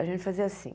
A gente fazia assim.